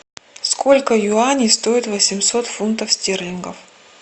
сколько юаней стоит восемьсот фунтов стерлингов